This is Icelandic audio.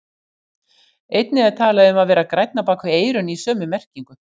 Einnig er talað um að vera grænn á bak við eyrun í sömu merkingu.